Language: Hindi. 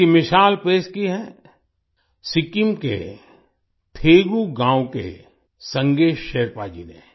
इसकी मिसाल पेश की है सिक्किम के थेगू गाँव के संगे शेरपा जी ने